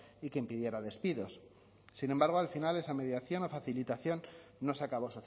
y que impidiera despidos sin embargo al final esa mediación o facilitación no se acabó